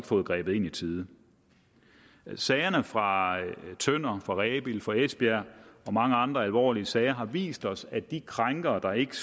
fået grebet ind i tide sagerne fra tønder fra rebild og fra esbjerg og mange andre alvorlige sager har vist os at de krænkere der ikke